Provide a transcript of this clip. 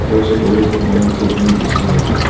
আশেপাশের পরিবেশ দেখে মনে হচ্ছে এইখানে বৃষ্টি হয়েছে।